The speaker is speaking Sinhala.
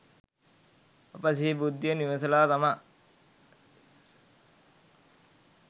අපි සිහි බුද්ධියෙන් විමසලා තමයි